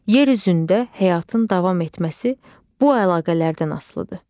Yer üzündə həyatın davam etməsi bu əlaqələrdən asılıdır.